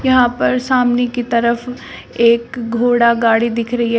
यहां पर सामने की तरफ एक घोड़ा गाड़ी दिख रही है।